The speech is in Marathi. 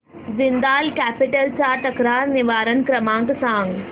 जिंदाल कॅपिटल चा तक्रार निवारण क्रमांक सांग